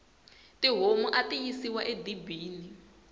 tihomu ati yisiwa e dibini